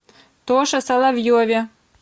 тоше соловьеве